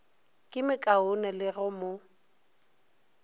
ye mekaone le go mo